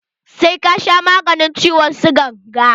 Sai ka sha maganin ciwon sigan ga!